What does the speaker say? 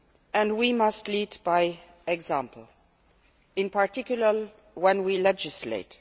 and we must lead by example, in particular, when we legislate.